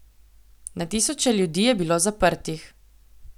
Na tisoče ljudi je bilo zaprtih.